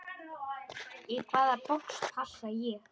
Í hvaða box passa ég?